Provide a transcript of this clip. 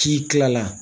K'i kila la